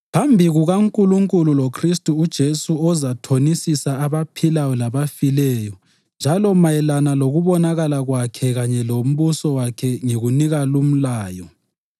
Phambi kukaNkulunkulu loKhristu uJesu ozathonisisa abaphilayo labafileyo njalo mayelana lokubonakala kwakhe kanye lombuso wakhe ngikunika lumlayo: